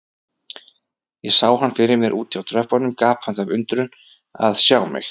Ég sá hann fyrir mér úti á tröppunum, gapandi af undrun að sjá mig.